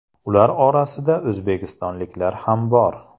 Ular orasida o‘zbekistonliklar ham bor.